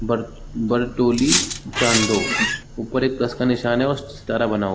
ब बड़ टोली चांदो ऊपर एक कोर्स का निशान है और सितारा बना हुआ। --